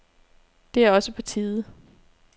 Det er også på tide.